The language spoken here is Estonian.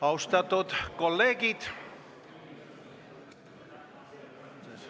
Austatud kolleegid!